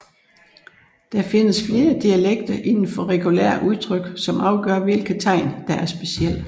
Der findes flere dialekter inden for regulære udtryk som afgør hvilke tegn der er specielle